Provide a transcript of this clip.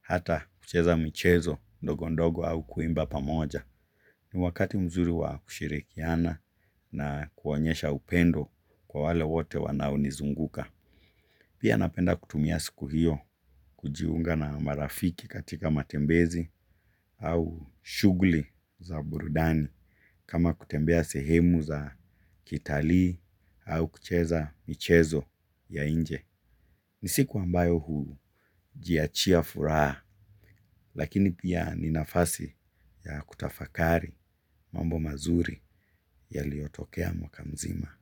hata kucheza michezo ndogondogo au kuimba pamoja. Ni wakati mzuri wa kushirikiana na kuonyesha upendo kwa wale wote wanaonizunguka. Pia napenda kutumia siku hio kujiunga na marafiki katika matembezi au shughuli za burudani kama kutembea sehemu za kitalii au kucheza michezo ya inje. Ni siku ambayo hujiachia furaha lakini pia ni nafasi ya kutafakari mambo mazuri ya liyotokea mwaka mzima.